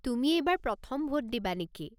তুমি এইবাৰ প্ৰথম ভোট দিবা নেকি?